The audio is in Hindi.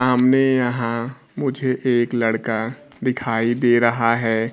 सामने यहां मुझे एक लड़का दिखाई दे रहा है।